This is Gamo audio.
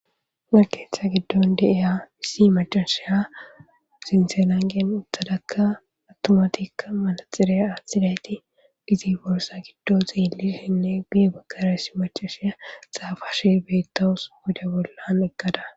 markeetha giddon deeya issi macashiya zinselangen uthadakka attumatikka manaxire aathidayti gizi borsa giddo zeelishenne guye bakara issi macashiya xaafash beettawus guda bollan eggada